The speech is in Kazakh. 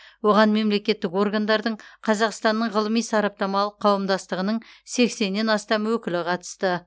оған мемлекеттік органдардың қазақстанның ғылыми сараптамалық қауымдастығының сексеннен астам өкілі қатысты